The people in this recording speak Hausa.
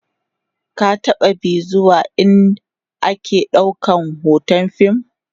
ka taɓa be zuwa ind ake ɗaukan hoton fim?